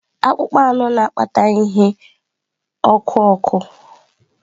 Akpụkpọ anụ na-akpata ihe ọkụ ọkụ.